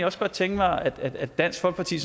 også godt tænke mig at at dansk folkeparti